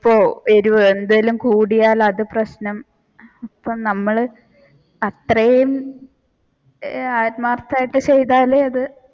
ഇപ്പൊ എരിവ് എന്തേലും കൂടിയാല അത് പ്രശ്നം ഇപ്പ നമ്മൾ അത് അത്രയും ആത്മാർത്ഥമായിട്ട് ചെയ്താലേ അത്